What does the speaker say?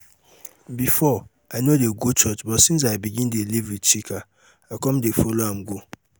before i no dey go church but since i begin dey live with chika i come dey follow am go